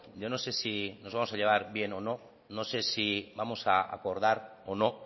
yo no sé si nos vamos a llevar bien o no no sé si vamos a acordar o no